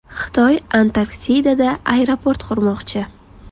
Xitoy Antarktidada aeroport qurmoqchi.